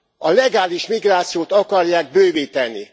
A legális migrációt akarják bővíteni.